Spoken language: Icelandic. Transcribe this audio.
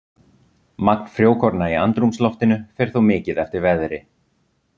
Magn frjókorna í andrúmsloftinu fer þó mikið eftir veðri.